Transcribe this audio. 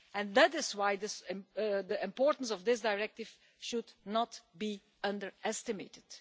That is why the importance of this Directive should not be underestimated.